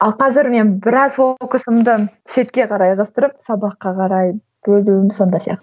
ал қазір мен біраз ол фокусымды шетке қарай ығыстырып сабаққа қарай бөлуім сонда